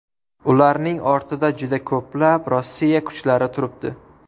Ularning ortida juda ko‘plab Rossiya kuchlari turibdi”.